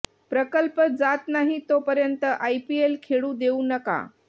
प्रकल्प जात नाही तोपर्यंत आयपीएल खेळू देऊ नका